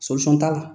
t'a la